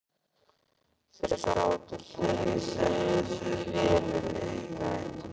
Þeir sátu hlið við hlið í vélinni.